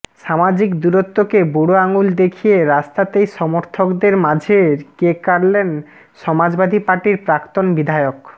সামাজিক দূরত্বকে বুড়ো আঙুল দেখিয়ে রাস্তাতেই সমর্থকদের মাঝে কেক কাটলেন সমাজবাদী পার্টির প্রাক্তন বিধায়ক